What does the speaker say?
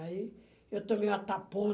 Aí eu também ia